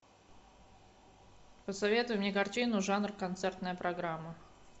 посоветуй мне картину жанр концертная программа